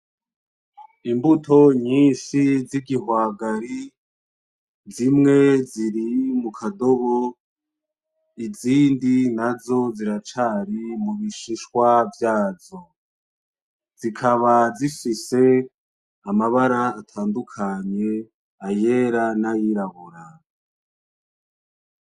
Imbuto nyinshi z'igihwagari zimwe ziri mukadobo izindi nazo ziracari mubishishwa vyazo, zikaba zifise amabara atandukanye ayera, nayirabura.